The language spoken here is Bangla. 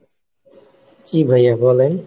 জি ভাইয়া বলেন,